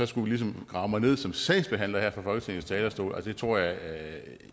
skulle grave mig ned som sagsbehandler her fra folketingets talerstol det tror jeg